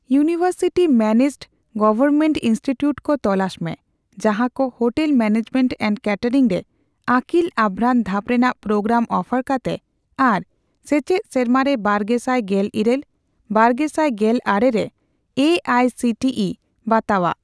University managed government institute ᱠᱚ ᱛᱚᱞᱟᱥ ᱢᱮ ᱡᱟᱦᱟᱠᱚ ᱦᱳᱴᱮᱞ ᱢᱮᱱᱮᱡᱢᱮᱱᱴ ᱮᱱᱰ ᱠᱮᱴᱮᱨᱤᱝ ᱨᱮ ᱟᱹᱠᱤᱞ ᱟᱵᱷᱨᱟᱱ ᱫᱷᱟᱯ ᱨᱮᱱᱟᱜ ᱯᱨᱳᱜᱨᱟᱢ ᱚᱯᱷᱟᱨ ᱠᱟᱛᱮ ᱟᱨ ᱥᱮᱪᱮᱫ ᱥᱮᱨᱢᱟᱨᱮ ᱵᱟᱨᱜᱮᱥᱟᱭ ᱜᱮᱞ ᱤᱨᱟᱹᱞ ᱼᱵᱟᱨᱜᱮᱥᱟᱭ ᱜᱮᱞ ᱟᱨᱮ ᱨᱮ A I C T E ᱵᱟᱛᱟᱣᱟᱜ ᱾